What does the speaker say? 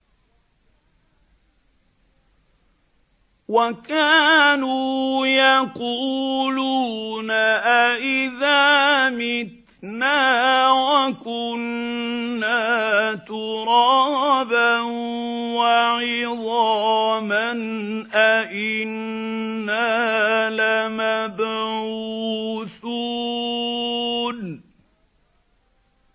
وَكَانُوا يَقُولُونَ أَئِذَا مِتْنَا وَكُنَّا تُرَابًا وَعِظَامًا أَإِنَّا لَمَبْعُوثُونَ